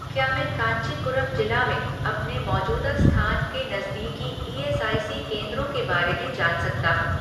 क्या मैं कांचीपुरम जिला में अपने मौजूदा स्थान के नज़दीकी ईएसआईसी केंद्रों के बारे में जान सकता हूँ